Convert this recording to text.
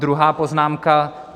Druhá poznámka.